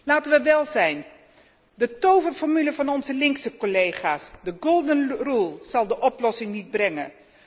Laten we wel zijn, de toverformule van onze links collega's, de golden rule zal de oplossing niet brengen.